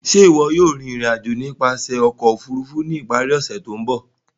Ṣe iwọ yóò rin irin-ajo nipasẹ ọkọ ofurufu ni ipari ose to nbọ?